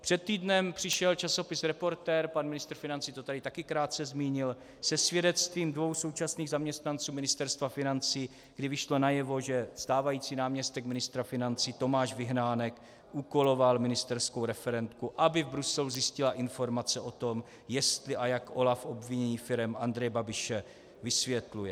Před týdnem přišel časopis Reportér, pan ministr financí to tady také krátce zmínil, se svědectvím dvou současných zaměstnanců Ministerstva financí, kdy vyšlo najevo, že stávající náměstek ministra financí Tomáš Vyhnánek úkoloval ministerskou referentku, aby v Bruselu zjistila informace o tom, jestli a jak OLAF obvinění firem Andreje Babiše vysvětluje.